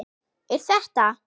Er þetta?